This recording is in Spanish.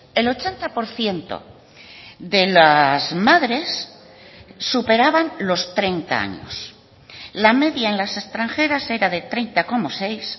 el ochenta por ciento de las madres superaban los treinta años la media en las extranjeras era de treinta coma seis